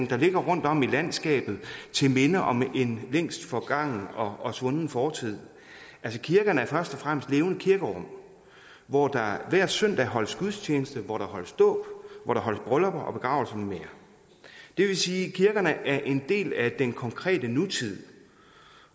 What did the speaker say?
der ligger rundtom i landskabet til minde om en længst forgangen og svunden fortid kirkerne er først og fremmest levende kirkerum hvor der hver søndag holdes gudstjeneste hvor der holdes dåb hvor der holdes bryllupper begravelse med mere det vil sige at kirkerne er en del af den konkrete nutid